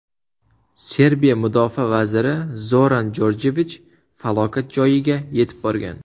Serbiya mudofaa vaziri Zoran Jorjevich falokat joyiga yetib borgan.